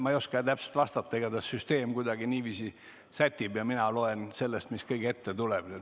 Ma ei oska täpselt vastata, igatahes süsteem kuidagi niiviisi sätib ja mina vaatan, mis kõige ette on ilmunud.